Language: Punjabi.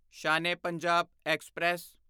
ਸ਼ਾਨ ਏ ਪੰਜਾਬ ਐਕਸਪ੍ਰੈਸ